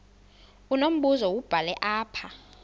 unombuzo wubhale apha